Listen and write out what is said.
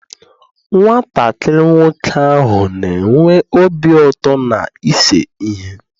Nwatakịrị nwoke ahụ na-enwe obi ụtọ n'ise ihe.